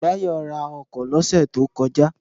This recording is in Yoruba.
Báyọ̀ ra ọkọ̀ lọ́sẹ̀ tó kọjá